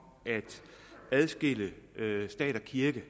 en adskillelse af stat og kirke